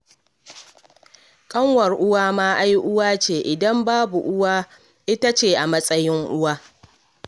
Kanwar uwa ma ai uwa ce, idan babu uwa ita ce a matsayin uwa